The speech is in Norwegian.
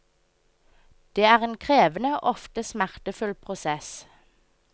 Det er en krevende og ofte smertefull prosess.